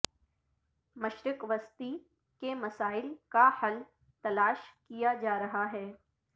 مشرق وسطی کے مسائل کا حل تلاش کیا جا رہا ہے